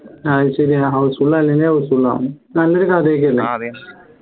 അത് ശരിയാ housefull അല്ലെങ്കിൽ houseful ആവും നല്ലൊരു കഥയൊക്കെ അല്ലേ